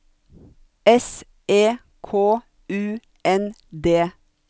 S E K U N D